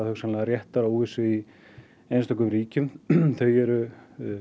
hugsanlega réttaróvissu í einstökum ríkjum þau eru